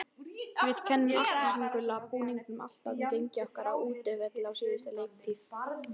Við kennum appelsínugula búningnum alltaf um gengi okkar á útivelli á síðustu leiktíð.